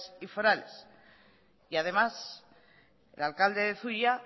y forales y además el alcalde de zuia